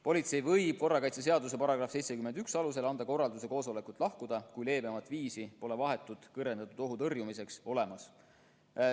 Politsei võib korrakaitseseaduse § 71 alusel anda korralduse koosolekult lahkuda, kui leebemat viisi pole vahetu kõrgendatud ohu tõrjumiseks olemas.